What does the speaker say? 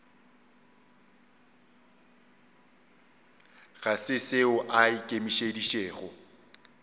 ga se seo a ikemišeditšego